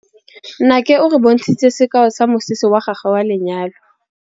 Nnake o re bontshitse sekaô sa mosese wa gagwe wa lenyalo.